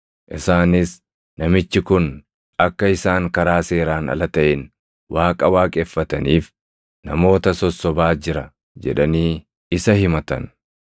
Isaanis, “Namichi kun akka isaan karaa seeraan ala taʼeen Waaqa waaqeffataniif namoota sossobaa jira” jedhanii isa himatan.